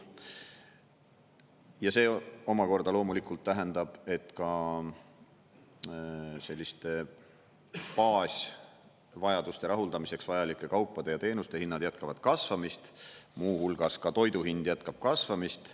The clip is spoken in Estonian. Ja see omakorda loomulikult tähendab, et ka selliste baasvajaduste rahuldamiseks vajalike kaupade ja teenuste hinnad jätkavad kasvamist, muu hulgas ka toidu hind jätkab kasvamist.